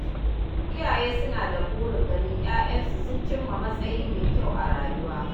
Iyaye suna da burin ganin ƴaƴansu sun cimma matsayi mai kyau a rayuwa.